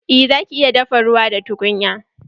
Eh zaki iya dafa ruwa da tukunya.